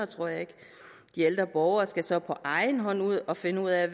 tror jeg ikke de ældre borgere skal så på egen hånd ud og finde ud af